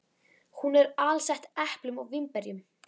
Hún er alsett eplum og vínberjum.